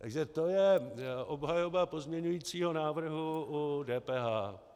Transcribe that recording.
Takže to je obhajoba pozměňujícího návrhu u DPH.